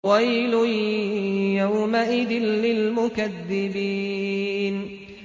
وَيْلٌ يَوْمَئِذٍ لِّلْمُكَذِّبِينَ